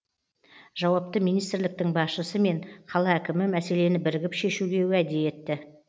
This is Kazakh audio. жауапты министрліктің басшысы мен қала әкімі мәселені бірігіп шешуге уәде етті